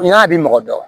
N y'a bi mɔgɔ dɔ